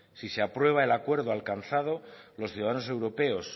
si se aprueba el acuerdo alcanzado los ciudadanos europeos